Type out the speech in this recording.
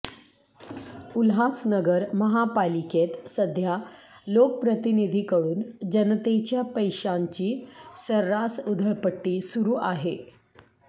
उल्हासनगर महापालिकेत सध्या लोकप्रतिनिधींकडून जनतेच्या पैशांची सर्रास उधळपट्टी सुरू आहे